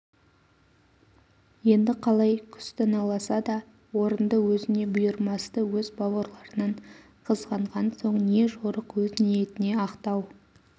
енді қалай күстаналаса да орынды өзіне бұйырмасты өз бауырларынан қызғанған соң не жорық өз ниетіне ақтау